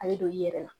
A bɛ don i yɛrɛ la